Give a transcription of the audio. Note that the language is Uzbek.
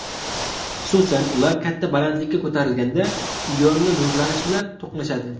Xususan, ular katta balandlikka ko‘tarilganda ionli nurlanish bilan to‘qnashadi.